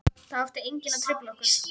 Það átti enginn að trufla okkur.